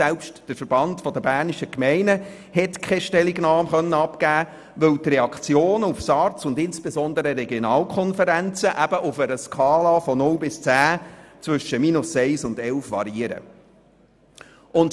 Selbst der VBG hat keine Stellungnahme abgeben können, weil die Reaktionen auf die SARZ und insbesondere auf die Regionalkonferenzen auf einer Skala von 0 bis 10 zwischen -1 und 11 variieren.